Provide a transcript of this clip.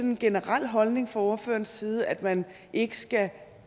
en generel holdning fra ordførerens side at man ikke skal